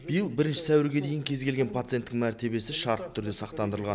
биыл бірінші сәуірге дейін кез келген пациенттің мәртебесі шартты түрде сақтандырылған